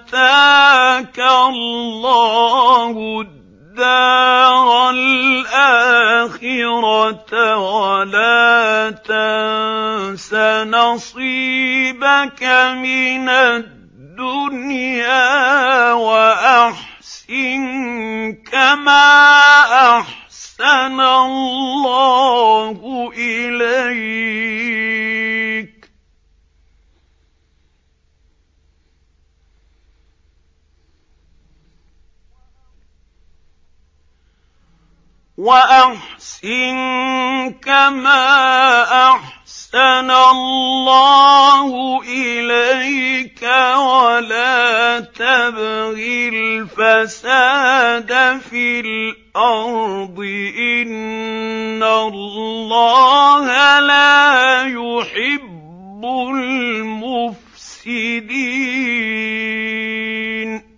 آتَاكَ اللَّهُ الدَّارَ الْآخِرَةَ ۖ وَلَا تَنسَ نَصِيبَكَ مِنَ الدُّنْيَا ۖ وَأَحْسِن كَمَا أَحْسَنَ اللَّهُ إِلَيْكَ ۖ وَلَا تَبْغِ الْفَسَادَ فِي الْأَرْضِ ۖ إِنَّ اللَّهَ لَا يُحِبُّ الْمُفْسِدِينَ